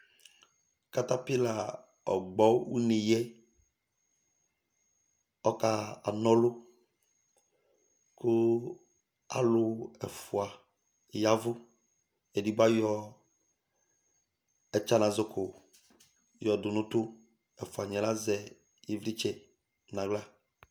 Katapila ɔgbɔ ʋne yɛ ɔkana ɔlu kʋ alu ɛfʋa yavʋ Ɛdigbo ayɔ ɛtsanazɔko yɔdu nʋ ʋtu Ɛfʋaniɛ azɛ ivlitsɛ